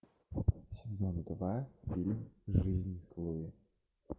сезон два фильм жизнь с луи